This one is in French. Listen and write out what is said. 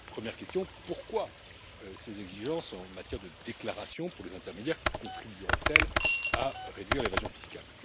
Première question pourquoi ces exigences en matière de déclaration pour les intermédiaires contribueraient elles à réduire l'évasion fiscale?